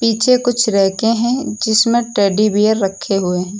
पीछे कुछ रैकें हैं जिसमें टेडी बियर रखे हुए हैं।